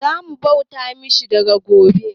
Zamu bauta ma Shinto daga gobe